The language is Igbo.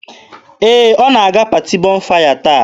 Ee, ọ na-aga paati Bọnfaya taa.